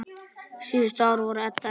Síðustu ár voru Edda erfið.